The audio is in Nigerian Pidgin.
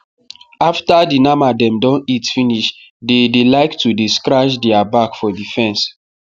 after the nama dem don eat finish dey dey like to dey scratch their back for the fence